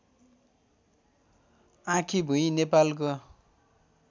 आँखीभुई नेपालको